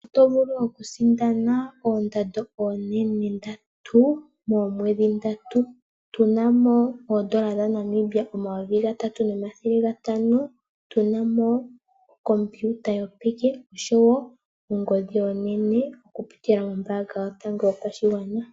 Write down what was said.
Oto vulu oku sindana oondando oonene ndatu momwedhi ndatu. Otuna mo oondola dha Namibia omayovi gatatu nomathele gatano, tuma mo okompiuta yopeke osho woo ongodhi onene oku pitila kombaanga yotango yopashingwana.